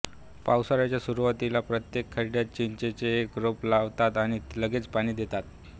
पावसाळ्याच्या सुरुवातीला प्रत्येक खड्ड्यात चिंचेचे एक रोप लावतात आणि लगेच पाणी द्देतात